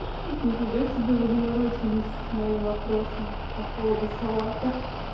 нифига себе вы заморочились с моим вопросом по поводу салата